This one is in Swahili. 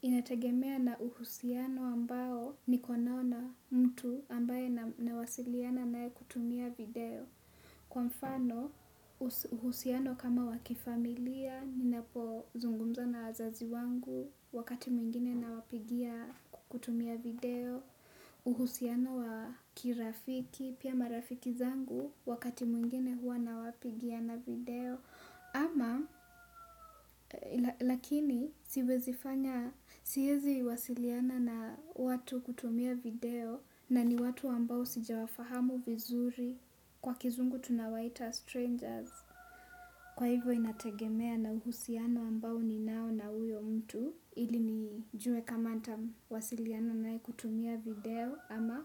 Inategemea na uhusiano ambao niko nao na mtu ambaye nawasiliana naye kutumia video. Kwa mfano uhusiano kama wa kifamilia ninapozungumza na wazazi wangu wakati mwingine nawapigia kwa kutumia video. Uhusiano wa kirafiki, pia marafiki zangu wakati mwingine huwa nawapigia na video. Ama lakini siwezi fanya siezi wasiliana na watu kutumia video na ni watu ambao sijawafahamu vizuri kwa kizungu tunawaita strangers. Kwa hivyo inategemea na uhusiano ambao ninao na huyo mtu ili nijue kama nitawasiliana naye kutumia video ama